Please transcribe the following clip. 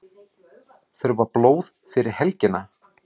Þurfa blóð fyrir helgina